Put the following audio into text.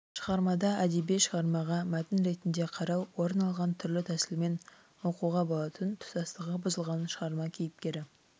шығармада әдеби шығармаға мәтін ретінде қарау орын алған түрлі тәсілмен оқуға болатын тұтастығы бұзылған шығарма кейіпкері